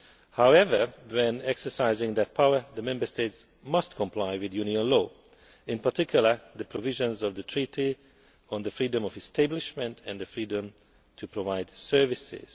However, when exercising their power the Member States must comply with Union law, in particular the provisions of the Treaty on the freedom of establishment and the freedom to provide services.